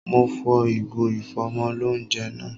Mo fọ ìgò ìfọ́mọlóunjẹ náà